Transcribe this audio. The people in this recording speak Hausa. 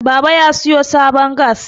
baba ya siyo sabon gas